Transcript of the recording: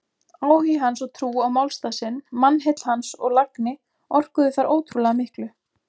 Áhugi hans og trú á málstað sinn, mannheill hans og lagni orkuðu þar ótrúlega miklu.